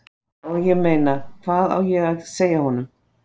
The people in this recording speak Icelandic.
Og, ég meina, hvað á ég að segja honum?